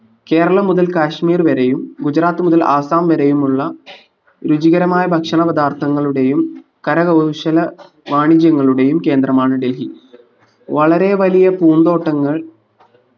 കേരളം മുതൽ കശ്മീർ വരെയും ഗുജറാത്ത് മുതൽ ആസാം വരെയുമുള്ള രുചികരമായ ഭക്ഷണ പദാർത്ഥങ്ങളുടേയും കരകൗശല വാണിജ്യങ്ങളുടെയും കേന്ദ്രമാണ് ഡൽഹി വളരെ വലിയ പൂന്തോട്ടങ്ങൾ